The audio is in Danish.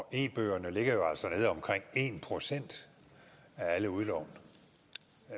af e bøger ligger jo altså nede på omkring en procent af alle udlån